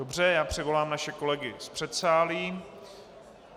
Dobře, já přivolám naše kolegy z předsálí.